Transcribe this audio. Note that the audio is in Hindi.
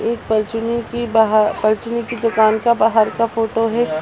एक की दुकान के बाहर का फोटो है।